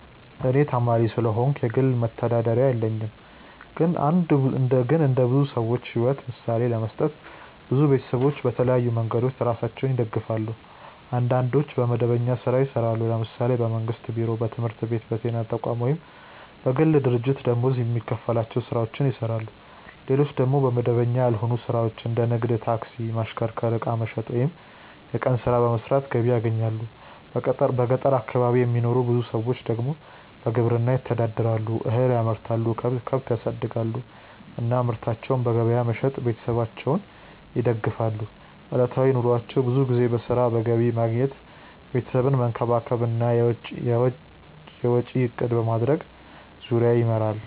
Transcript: እኔ ተማሪ ስለሆንኩ የግል መተዳደሪያ የለኝም። ግን እንደ ብዙ ሰዎች ሕይወት ምሳሌ ለመስጠት፣ ብዙ ቤተሰቦች በተለያዩ መንገዶች ራሳቸውን ይደግፋሉ። አንዳንዶች በመደበኛ ሥራ ይሰራሉ፤ ለምሳሌ በመንግስት ቢሮ፣ በትምህርት ቤት፣ በጤና ተቋም ወይም በግል ድርጅት ደመወዝ የሚከፈላቸው ሥራዎችን ይሰራሉ። ሌሎች ደግሞ በመደበኛ ያልሆነ ሥራ እንደ ንግድ፣ ታክሲ ማሽከርከር፣ ዕቃ መሸጥ ወይም የቀን ሥራ በመስራት ገቢ ያገኛሉ። በገጠር አካባቢ የሚኖሩ ብዙ ሰዎች ደግሞ በግብርና ይተዳደራሉ፤ እህል ያመርታሉ፣ ከብት ያሳድጋሉ እና ምርታቸውን በገበያ በመሸጥ ቤተሰባቸውን ይደግፋሉ። ዕለታዊ ኑሯቸው ብዙ ጊዜ በሥራ፣ በገቢ ማግኘት፣ ቤተሰብን መንከባከብ እና የወጪ እቅድ ማድረግ ዙሪያ ይመራል።